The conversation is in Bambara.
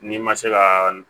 N'i ma se ka